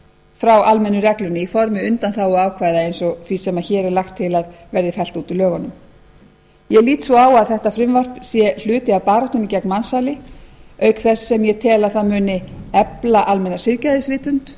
frá almennu reglunni í formi undanþáguákvæða eins og því sem hér er lagt til að verði fellt út úr lögunum ég lít svo á að þetta frumvarp sé hluti af baráttunni gegn mansali auk þess sem ég tel að það muni efla almenna siðgæðisvitund